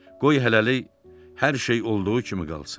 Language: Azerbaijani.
Qoy hələlik hər şey olduğu kimi qalsın."